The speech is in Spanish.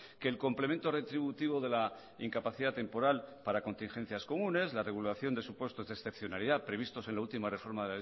que el complemento retributivo de la incapacidad temporal para contingencias comunes la regulación de supuestos de excepcionalidad previstos en la última reforma